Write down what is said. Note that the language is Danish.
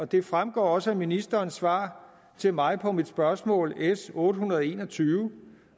det fremgår også af ministerens svar til mig på mit spørgsmål s otte hundrede og en og tyve